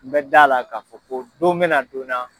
N bɛ d'a la ka fɔ ko don bɛna na donna